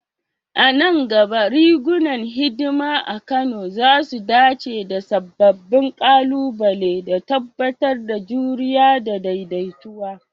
A nan gaba, rigunan hidima a Kano za su dace da sababbin ƙalubale, da tabbatar da juriya da daidaitawa.